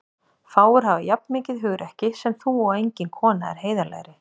Fáir hafa jafn mikið hugrekki sem þú og engin kona er heiðarlegri.